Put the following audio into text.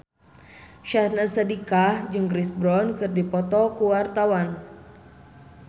Syahnaz Sadiqah jeung Chris Brown keur dipoto ku wartawan